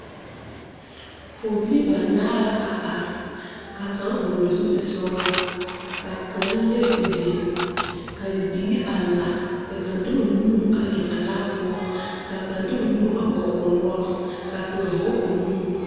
Poɔbilii banaare la a arẽ ka kang vɔgli zupili sɔglaa ka kang lɛ ɔ deng ka bibie arẽ lang ka kang de ɔ nue a eng a laa pou ka kang de ɔ nu a pɔg ɔ nɔɔri ka kang go ɔ nu eng.